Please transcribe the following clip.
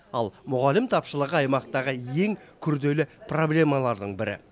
ал мұғалім тапшылығы аймақтағы ең күрделі проблемалардың бірі